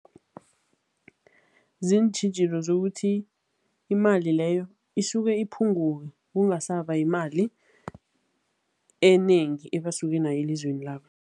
Ziintjhijilo zokuthi imali leyo isuke iphunguke, kungasaba yimali enengi ebasuke nayo elizweni labo.